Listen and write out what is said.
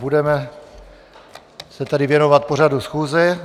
Budeme se tedy věnovat pořadu schůze.